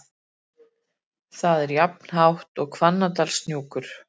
Það er jafnhátt og Hvannadalshnúkur.